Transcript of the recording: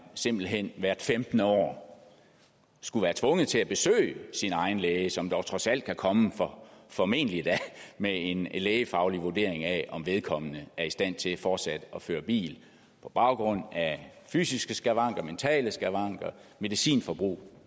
simpelt hen hvert femtende år skulle være tvunget til at besøge sin egen læge som dog trods alt kan komme formentlig da med en lægefaglig vurdering af om vedkommende er i stand til fortsat at føre bil på baggrund af fysiske skavanker mentale skavanker medicinforbrug